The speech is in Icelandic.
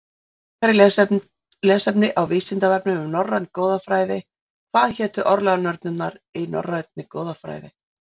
Frekara lesefni á Vísindavefnum um norræna goðafræði: Hvað hétu örlaganornirnar í norrænni goðafræði?